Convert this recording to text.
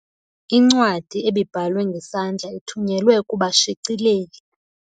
Incwadi ebibhalwe ngesandla ithunyelwe kubashicileli.